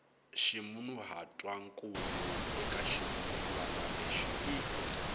ximunhuhatwankulu eka xirungulwana lexi i